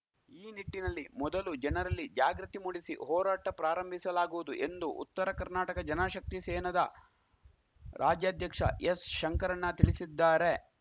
ಈ ನಿಟ್ಟಿನಲ್ಲಿ ಮೊದಲು ಜನರಲ್ಲಿ ಜಾಗೃತಿ ಮೂಡಿಸಿ ಹೋರಾಟ ಪ್ರಾರಂಭಿಸಲಾಗುವುದು ಎಂದು ಉತ್ತರ ಕರ್ನಾಟಕ ಜನಶಕ್ತಿ ಸೇನದ ರಾಜ್ಯಾಧ್ಯಕ್ಷ ಎಸ್‌ಶಂಕರಣ್ಣ ತಿಳಿಸಿದ್ದಾರೆ